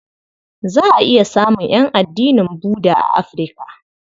Za a iya samun ƴan addinin Budda a Afirka.